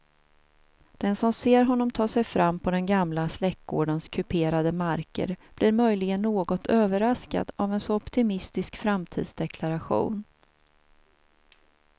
Den som ser honom ta sig fram på den gamla släktgårdens kuperade marker blir möjligen något överraskad av en så optimistisk framtidsdeklaration.